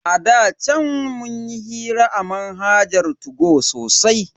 A da chan munyi hira a manhajar 2go sosai.